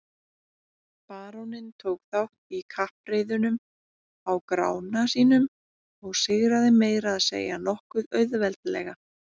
Baróninn tók þátt í kappreiðunum á Grána sínum og sigraði meira að segja nokkuð auðveldlega.